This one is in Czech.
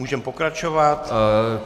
Můžeme pokračovat.